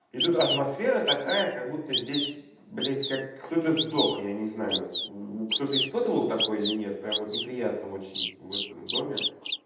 идут атмосфера такая как будто здесь блядь как кто-то сдох я не знаю кто-то испытывал такой или нет прямо вот неприятно очень в этом доме